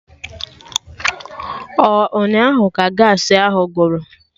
Ọ ụnyaahụ ka Gaasị ahụ gwụrụ?